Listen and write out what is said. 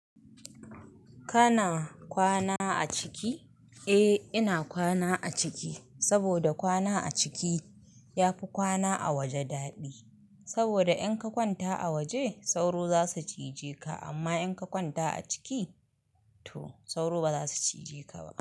Kana kwana a ciki? Eh ina kwana a ciki, saboda kwana a ciki yafi kwana a waje daɗi. Saboda in ka kwanta a waje sauro zasu cije ka amma in ka kwanta a ciki to sauro baza su cije ka ba.